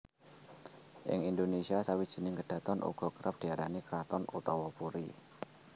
Ing Indonésia sawijining kedhaton uga kerep diarani kraton utawa puri